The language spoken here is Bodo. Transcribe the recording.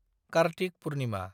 कार्तिक पुर्निमा